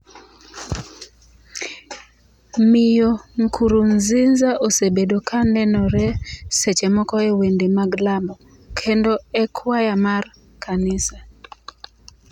Miyo Nkurunziza osebedo ka nenore seche moko e wende mag lamo, kendo e kwaya mar kanisa